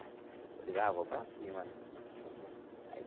Eu digo ah, eu vou para cima, né? Uhum. Aí.